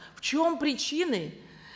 в чем причины